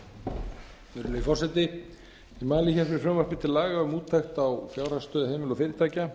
virðulegi forseti ég mæli fyrir frumvarpi til laga um úttekt á fjárhagsstöðu heimila og fyrirtækja